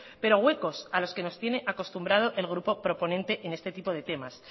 pero huecos a los que nos tiene acostumbrados el grupo proponente en este tipo de temas